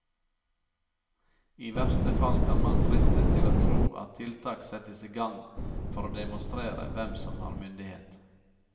I verste fall kan man fristes til å tro at tiltak settes i gang for å demonstrere hvem som har myndighet.